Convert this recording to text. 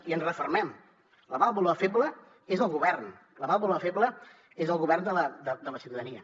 i ens refermem la vàlvula feble és el govern la vàlvula feble és el govern de la ciutadania